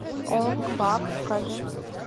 онг бак покажи